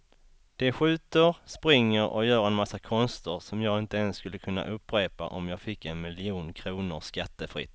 De skjuter, springer och gör en massa konster som jag inte ens skulle kunna upprepa om jag fick en miljon kronor skattefritt.